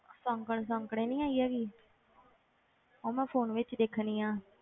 ਸੌਂਕਣ ਸੌਂਕਣੇ ਨੀ ਆਈ ਹੈਗੀ ਉਹ ਮੈਂ phone ਵਿੱਚ ਦੇਖਣੀ ਆਂ